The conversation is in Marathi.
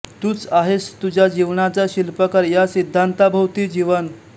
तूच आहेस तुझ्या जीवनाचा शिल्पकार ह्या सिद्धांताभोवती जीवन